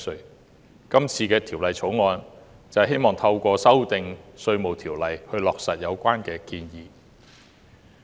今次的《2019年稅務條例草案》希望透過修訂《稅務條例》，落實有關建議。